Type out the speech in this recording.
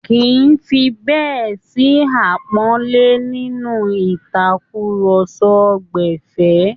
Kìí fi bẹ́ẹ̀ sí àpọ́nlé nínú ìtàkúrọsọ gbẹ̀fẹ́